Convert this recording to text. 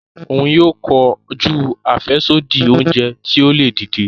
Òún yóò kọjú afẹsodi oúnjẹ ti o le dìde.